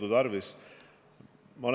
Jõudu tarvis!